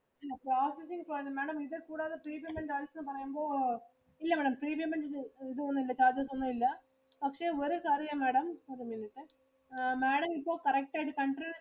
processing കാണും Madam ഇത് കൂടാതെ premium charges പറയുമ്പോ ഇല്ല Madam premium charges ഒന്നും ഇല്ല. പക്ഷെ ഒരു കാര്യവാ Madam ഒരു മിനിറ്റ് ആ Madam ഇപ്പൊ correct ആയിട്ടു continue